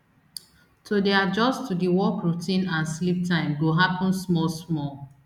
to dey adjust to di work routine and sleep time go happun small small